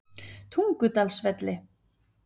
Tungudalsvelli